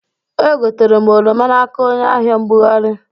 Egotere m oroma n'aka onye ahịa-mbugarị